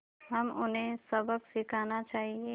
हमें उन्हें सबक सिखाना चाहिए